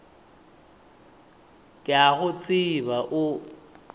ke a go tseba o